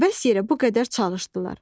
Əbəs yerə bu qədər çalışdılar.